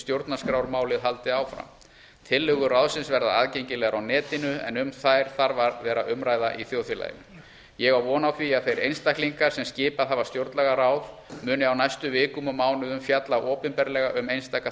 stjórnarskrármálið haldi áfram tillögur ráðsins verða aðgengilegar á netinu en um þær þarf að verða umræða í þjóðfélaginu ég á von á því að þeir einstaklingar sem skipað hafa stjórnlagaráð muni á næstu vikum og mánuðum fjalla opinberlega um einstaka